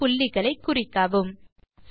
வெட்டுப் புள்ளிகளை குறிக்கவும்